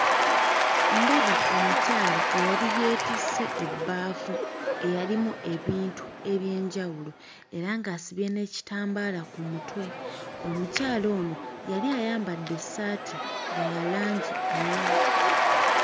Ndaba omukyala eyali yeetisse ebbaafu eyalimu ebintu eby'enjawulo era ng'asibye n'ekitambaala ku mutwe. Omukyala ono yali ayambadde essaati nga ya langi mmyufu.